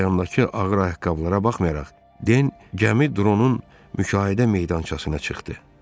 Ayağındakı ağır ayaqqabılara baxmayaraq Den gəmi dronun müşahidə meydançasına çıxdı.